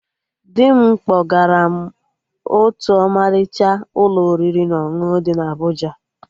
Dị m kpọgara m otú ọmalịcha Ụlọ oriri na ọṅụṅụ dị na Abụja